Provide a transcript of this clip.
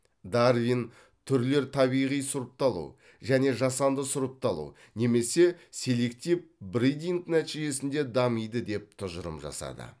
дарвин түрлер табиғи сұрыпталу және жасанды сұрыпталу немесе селектив бридинг нәтижесінде дамиды деп тұжырым жасады